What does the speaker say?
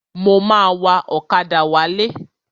Mo ma wa ọ̀kadà wálé.